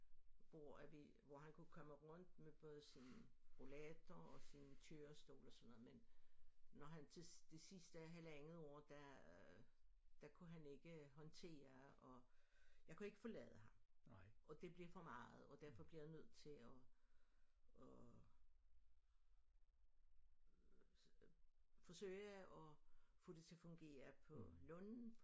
Hvor at vi hvor han kunne komme rundt med både sin rollator og sin kørestol og sådan noget men når han til det sidste halvandet år der der kunne han ikke håndtere at jeg kunne ikke forlade ham og det blev for meget og derfor blev jeg nødt til at at forsøge at få det til at fungere på lunden